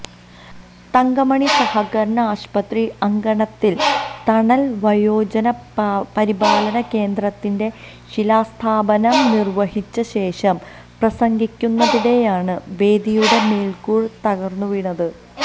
തങ്കമണി സഹകരണ ആശുപത്രി അങ്കണത്തില് തണല് വയോജന പരിപാലന കേന്ദ്രത്തിന്റെ ശിലാസ്ഥാപനം നിര്വ്വഹിച്ച ശേഷം പ്രസംഗിക്കുന്നതിനിടെയാണ് വേദിയുടെ മേല്ക്കൂര തകര്ന്നുവീണത്